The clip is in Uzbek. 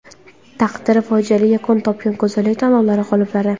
Taqdiri fojiali yakun topgan go‘zallik tanlovlari g‘oliblari .